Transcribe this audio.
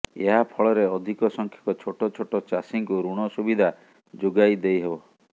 ଏହା ଫଳରେ ଅଧିକ ସଂଖ୍ୟକ ଛୋଟ ଛୋଟ ଚାଷୀଙ୍କୁ ଋଣ ସୁବିଧା ଯୋଗାଇ ଦେଇହେବ